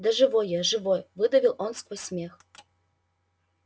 да живой я живой выдавил он сквозь смех